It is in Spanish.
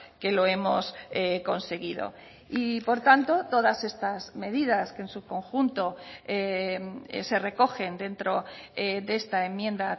que lo hemos conseguido y por tanto todas estas medidas que en su conjunto se recogen dentro de esta enmienda